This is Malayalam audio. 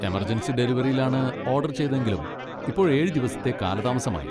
എമർജൻസി ഡെലിവറിയിലാണ് ഓഡർ ചെയ്തതെങ്കിലും ഇപ്പോൾ ഏഴ് ദിവസത്തെ കാലതാമസമായി.